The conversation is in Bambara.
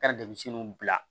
Ka demisɛnninw bila